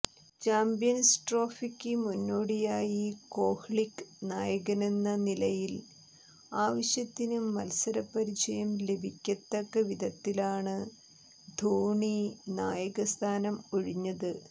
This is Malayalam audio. ചാംപ്യൻസ് ട്രോഫിക്ക് മുന്നോടിയായി കോഹ്ലിക്ക് നായകനെന്ന നിലയിൽ ആവശ്യത്തിന് മൽസരപരിചയം ലഭിക്കത്തവിധത്തിലാണ് ധോണി നായകസ്ഥാനം ഒഴിഞ്ഞത്